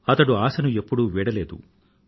అతను ఆశను ఎప్పుడూ వీడలేదు